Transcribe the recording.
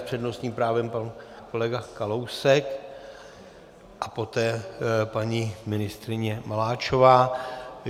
S přednostním právem pan kolega Kalousek a poté paní ministryně Maláčová.